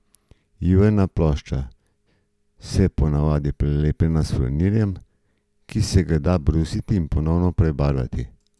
Iverne plošče so po navadi prelepljene s furnirjem, ki se ga da brusiti in ponovno prebarvati.